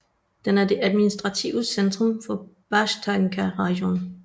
Den er det administrative centrum for Bashtanka rajon